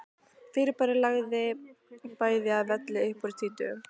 Fyrirbærið lagði bæði að velli upp úr tvítugu.